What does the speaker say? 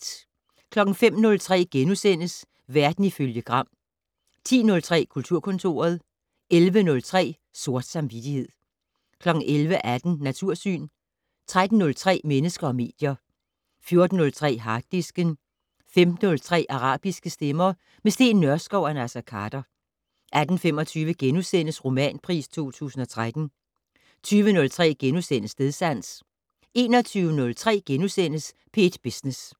05:03: Verden ifølge Gram * 10:03: Kulturkontoret 11:03: Sort samvittighed 11:18: Natursyn 13:03: Mennesker og medier 14:03: Harddisken 15:03: Arabiske stemmer - med Steen Nørskov og Naser Khader 18:25: Romanpris 2013 * 20:03: Stedsans * 21:03: P1 Business *